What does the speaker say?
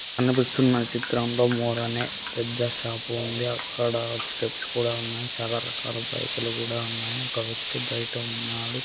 కనిపిస్తున్న చిత్రంలో మోర్ అనే పెద్ద షాపు ఉంది అక్కడ స్టెప్స్ కూడా ఉన్నాయ్ చాలా రకాల బైకులు గుడా ఉన్నాయ్ ఒక వ్యక్తి బైట ఉన్నాడు.